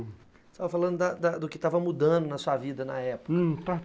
Você estava falando da da do que estava mudando na sua vida na época, hum, tá.